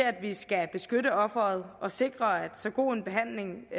at vi skal beskytte offeret og sikre at så god en behandling